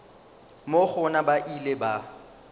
moo gona ba ile ba